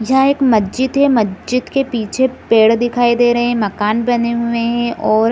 यह एक मज्जिद है मज्जिद के पीछे पेड़ दिखाई दे रहें हैं मकान बने हुएं हैं और --